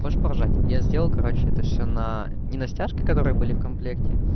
хочешь поржать я сделал короче это все на ни на стяжки которые были в комплекте